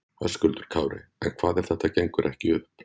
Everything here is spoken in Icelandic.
Höskuldur Kári: En hvað ef þetta gengur ekki upp?